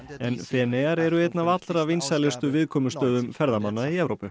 en Feneyjar eru einn af allra vinsælustu viðkomustöðum ferðamanna í Evrópu